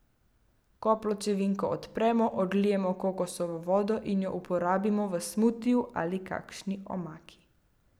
Ko pločevinko odpremo, odlijemo kokosovo vodo in jo uporabimo v smutiju ali kakšni omaki.